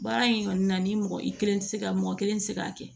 Baara in kɔni na ni mɔgɔ i kelen tɛ se ka mɔgɔ kelen tɛ se k'a kɛ